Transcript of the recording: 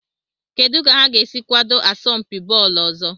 Kedu ka ha ga-esi kwado asọmpi bọọlụ ọzọ?